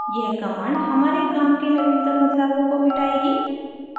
यह command हमारे काम के नवीनतम बदलावों को मिटाएगी